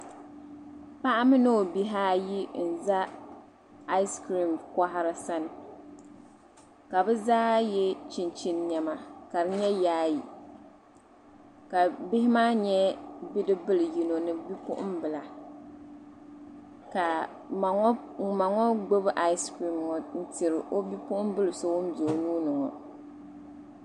paɣa mini o bihi ayi n za ayisikirim koha sani ka bɛ zaa ye chinchini nɛma ka di nyɛ yaayɛ ka bihi maa nyɛ bidib bili yino ni bipuɣinbia kaa ma ŋɔ gbubi ayisikirim n tiri o bipuɣim bili so ŋun be o nuuni ŋɔ